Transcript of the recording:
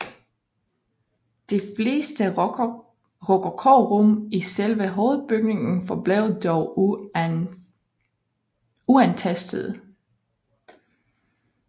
De fleste rokokorum i selve hovedbygningen forblev dog uantastede